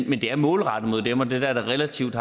men det er målrettet dem og det er der det relativt